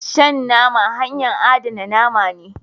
Shan nama hanya adana name ne.